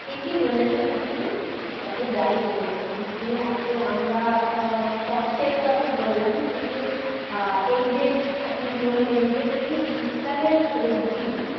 ঠিকই বলেছেন আপনি তবে যাই বলুন শীত নিয়ে এত আমরা আহ কষ্টের কথা বললাম কিন্তু আহ এই যে আপনি বললেন যে এই শীতকালের সব্জি